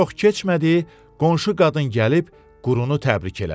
Çox keçmədi qonşu qadın gəlib Qurunu təbrik elədi.